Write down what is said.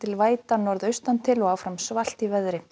væta norðaustantil og áfram svalt í veðri